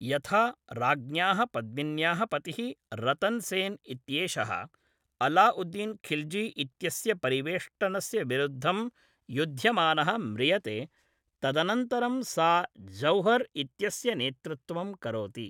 यथा, राज्ञ्याः पद्मिन्याः पतिः रतन् सेन् इत्येषः अलाउद्दीन् खिल्जी इत्यस्य परिवेष्टनस्य विरुद्धं युध्यमानः म्रियते, तदनन्तरं सा जौहर् इत्यस्य नेतृत्वं करोति।